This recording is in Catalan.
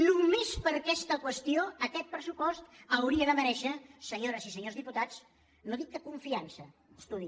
només per aquesta qüestió aquest pressupost hauria de merèixer senyores i senyors dipu·tats no dic que confiança estudi